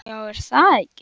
Já er það ekki?